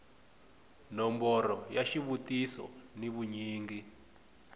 nomboro ya xivutiso ni vunyingi